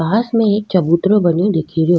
पास में एक चबूतरों बनो दिख रो।